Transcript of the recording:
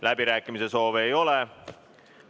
Läbirääkimise soove ei ole.